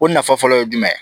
O nafa fɔlɔ ye jumɛn ye